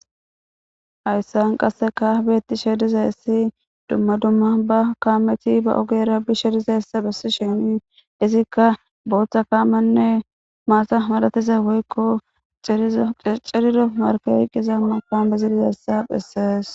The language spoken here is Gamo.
Hayssan qasseka beetti she dizay essi dumma dumma ba kaameti ba ogeera bi she dizayssa bessi shenii izikka booththa kaamenne maasa madatiza woykko cirido marke riqqiza mapa bezidizayssa phessees.